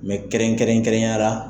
Mɛ kɛrɛnkɛrɛn kɛrɛnya la